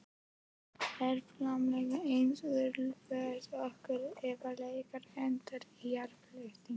Er framlenging eina úrræði okkar ef leikur endar í jafntefli?